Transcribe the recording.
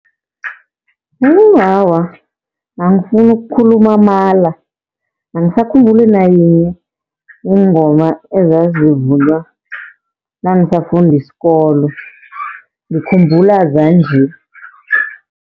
awa angifuni ukukhuluma amala, angisakhumbuli nayinye ingoma ezazivunywa nangisafunda isikolo, ngikhumbula zanje.